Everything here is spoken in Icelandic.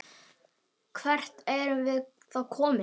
Hvert erum við þá komin?